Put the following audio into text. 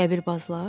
Qəbirbazlar?